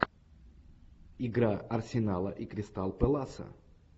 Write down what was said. игра арсенала и кристал пэласа